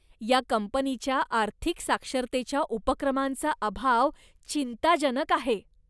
या कंपनीच्या आर्थिक साक्षरतेच्या उपक्रमांचा अभाव चिंताजनक आहे.